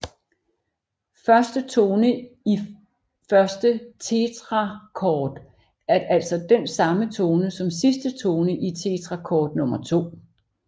Første tone i første tetrakord er altså den samme tone som sidste tone i tetrakord nummer to